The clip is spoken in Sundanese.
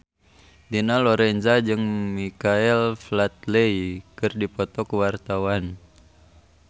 Dina Lorenza jeung Michael Flatley keur dipoto ku wartawan